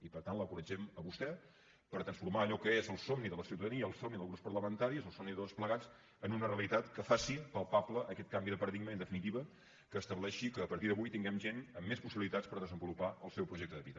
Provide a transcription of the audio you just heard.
i per tant l’encoratgem a vostè per transformar allò que és el somni de la ciutadania el somni dels grups parlamentaris el somni de tots plegats en una realitat que faci palpable aquest canvi de paradigma i en definitiva que estableixi que a partir d’avui tinguem gent amb més possibilitats per desenvolupar el seu projecte de vida